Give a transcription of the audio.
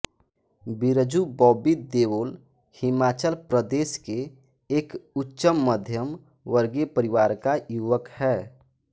बिरजू बॉबी देओल हिमाचल प्रदेश के एक उच्चमध्यम वर्गीय परिवार का युवक है